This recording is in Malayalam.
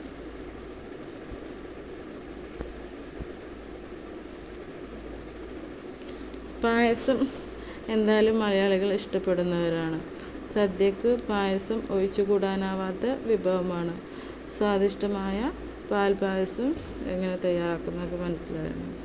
പായസം എന്തായാലും മലയാളികൾ ഇഷ്ടപ്പെടുന്നവരാണ്. സദ്യക്ക് പായസം ഒഴിച്ചുകൂടാനാവാത്ത വിഭവമാണ്. സ്വാദിഷ്ടമായ പാൽപ്പായസം എങ്ങനെ തയ്യാറാക്കുന്നത് എന്ന് മനസ്സിലായല്ലോ.